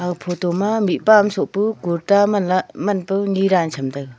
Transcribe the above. ah photo ma mihpa am soh pu kurta manlah manpao nye danla tham taega.